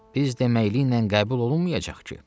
Biz deməklə qəbul olunmayacaq ki.